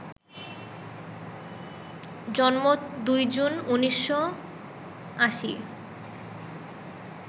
জন্ম ২ জুন, ১৯৮০